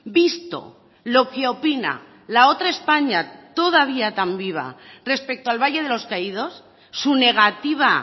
visto lo que opina la otra españa todavía tan viva respecto al valle de los caídos su negativa